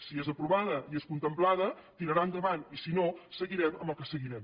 si és aprovada i és contemplada tirarà endavant i si no seguirem amb el que seguirem